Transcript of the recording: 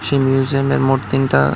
সেই মিউজিয়ামে মোট তিনটা--